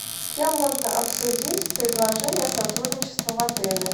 с кем можно обсудить предложение о сотрудничестве в отеле